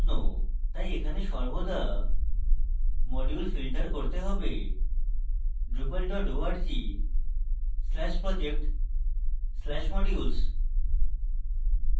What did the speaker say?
তাই এখানে সর্বদা modules filter করতে হবে drupal org/project/modules